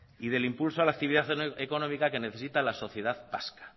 y del impulso a la actividad económica que necesita la sociedad vasca